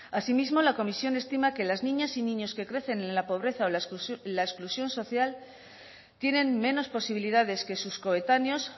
asimismo la comisión estima que las niñas y niños que crecen en la pobreza o en la exclusión social tienen menos posibilidades que sus coetáneos